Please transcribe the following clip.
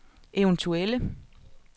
eventuelle